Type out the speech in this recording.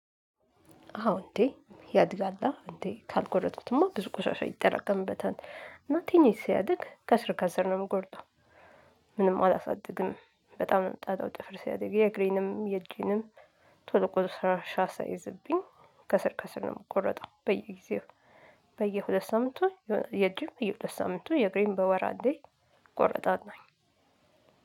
አዎ እንዴ ያድጋላ እንዴ ካልጎረጥኩትማ ብዙ ቁሻሻ ይጠራቀምበታል እና ቲኒሽ ሲያድግ ከስር ከስር ነው የምቆርጠው። ምንም አላሳድግም። በጣም ነው ጣጣው ጥፍር ሲያድግ የእግሬንም የጄንም ቶሎ ቆሻሻ ሳይዝብኝ ከስር ከስር ነው የምቆረጠው። በየጊዜው በየሁለት ሳምንቱ የእጅም በየሁለት ሳምንቱ የግሬም በወር አንዴ እቆረጣለሁኝ።